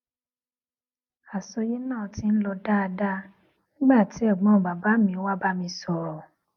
àsọyé náà ti ń lọ dáadáa nígbà tí ègbón bàbá mi wá bá mi sòrò